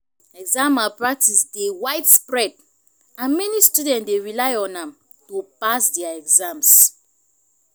exam malpractice dey widespread and many students dey rely on am to pass dia exams.